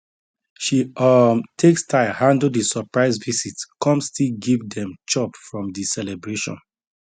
she um take style handle the surprise visit come still give dem chop from the celebration